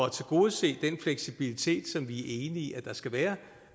at tilgodese den fleksibilitet som vi i der skal være